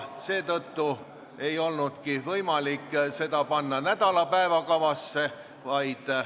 Seetõttu ei olnudki võimalik seda panna nädala päevakavasse.